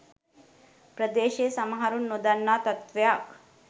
ප්‍රදේශයේ සමහරුන් නොදන්නා තත්ත්වයක්